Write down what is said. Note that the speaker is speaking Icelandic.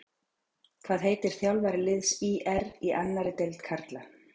Hvað heitir þjálfari liðs ÍR í annarri deild karla?